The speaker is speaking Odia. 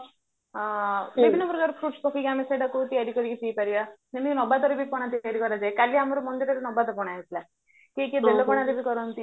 ଆଉ ବିଭିନ୍ନ ପ୍ରକାର foods ପକେଇକି ଆମେ ସେଇଟାକୁ ତିଆରି କରିକିକ ପିଇପାରିବା ଯେମିତି ନବାତରେ ବି ପଣା ତିଆରି କରାଯାଏ କାଲି ଆମର ମନ୍ଦିରରେ ନବାତ ପଣା ହେଇଥିଲା କିଏ କିଏ ବେଲ ପଣାରେ ବି କରନ୍ତି